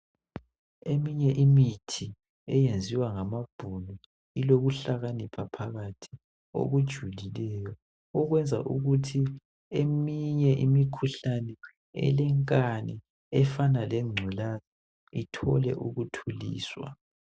Eminye imithi eyenziwa ngamabhunu ilokuhlakanipha phakathi okujulileyo okwenza ukuthi eminye imikhuhlane elenkani efana lengculaza ithole ukuthuliswa.